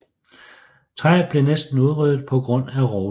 Træet blev næsten udryddet på grund af rovdrift